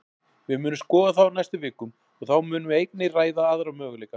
Við munum skoða það á næstu vikum, og þá munum við einnig ræða aðra möguleika.